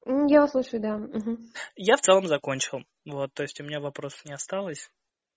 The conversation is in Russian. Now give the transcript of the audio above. я вас слушаю да я в целом закончил вот то есть у меня вопросов не осталось